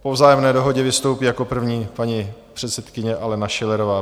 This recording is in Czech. Po vzájemné dohodě vystoupí jako první paní předsedkyně Alena Schillerová.